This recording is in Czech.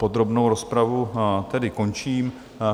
Podrobnou rozpravu tedy končím.